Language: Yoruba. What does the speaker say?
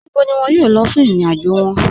Níbò ni wọn yóò lọ̀ fún ìrìn-àjò wọn?